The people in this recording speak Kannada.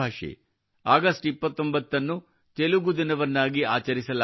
ಆಗಸ್ಟ್ 29 ಅನ್ನು ತೆಲುಗು ದಿನವನ್ನಾಗಿ ಆಚರಿಸಲಾಗುತ್ತದೆ